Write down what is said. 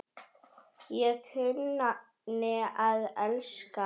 Ég kunni að elska.